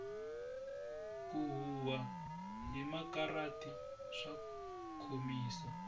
ku huhwa hi makarati swa khomisa